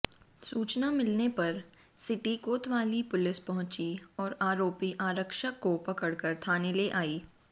सूचना मिलने पर सिटी कोतवाली पुलिस पहुंची और आरोपी आरक्षक को पकड़कर थाने ले आई